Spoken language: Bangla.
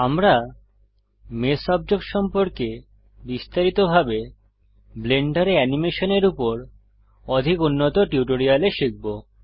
আমরা মেষ অবজেক্ট সম্পর্কে বিস্তারিতভাবে ব্লেন্ডারে অ্যানিমেশনের উপর অধিক উন্নত টিউটোরিয়ালে শিখব